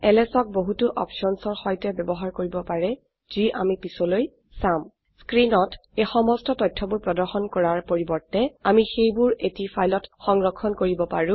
LS ক বহুতো অপছনচৰ সৈতে বয়ৱহাৰ কৰিব পাৰে যি আমি পিছলৈ চাম স্ক্ৰিনত এই সমস্ত তথ্যবোৰ প্ৰদৰ্শন কৰাৰ পৰিবৰ্তে আমি সেইবোৰ এটি ফাইলত সংৰক্ষণ কৰিব পাৰো